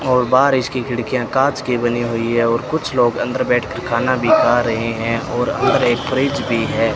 और बाहर इसकी खिड़कियां कांच की बनी हुई है और कुछ लोग अंदर बैठकर खाना भी खा रहे हैं और अंदर एक फ्रिज भी है।